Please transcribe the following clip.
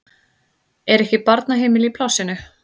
Er ekki barnaheimili í plássinu?